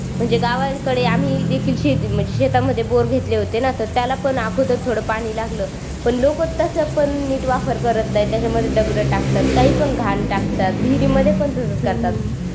म्हणजे गावाकडे आम्ही देखील म्हणजे शेतामध्ये बोर घेतले होते न त्याला पण अगोदर थोड पाणी लागल पण लोकं तस पण नीट वापर करत नाही त्याच्यामध्ये दगड टाकतात काही पण घाण टाकतात विहिरीमध्ये पण तसाच करतात